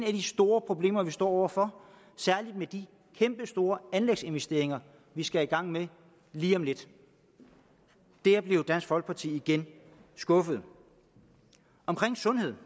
af de store problemer vi står over for særlig med de kæmpe store anlægsinvesteringer vi skal i gang med lige om lidt dér blev dansk folkeparti igen skuffet omkring sundhed